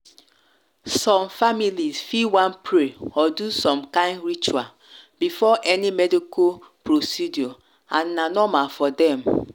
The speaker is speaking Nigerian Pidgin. families fi wan pray or do some kind ritual before any medical procedure and na normal for dem.